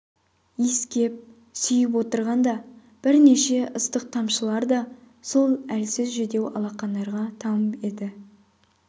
иіскеп сүйіп отырғанда бірнеше ыстық тамшылар да сол әлсіз жүдеу алақандарға тамып еді